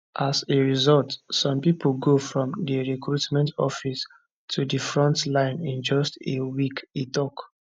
as a result some pipo go from di recruitment office to di front line in just a week e tok